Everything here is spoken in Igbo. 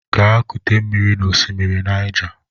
Gaa kute mmiri n'osimiri Niger!